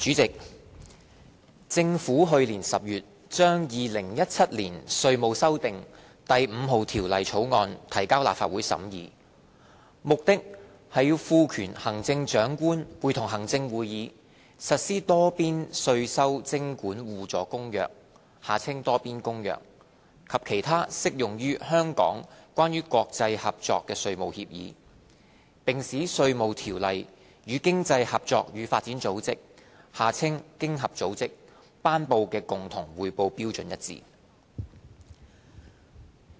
主席，政府去年10月將《2017年稅務條例草案》提交立法會審議，目的是賦權行政長官會同行政會議，實施《多邊稅收徵管互助公約》及其他適用於香港關於國際合作的稅務協議，並使《稅務條例》與經濟合作與發展組織頒布的共同匯報標準一致。